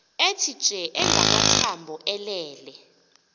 ethitye engamathambo elele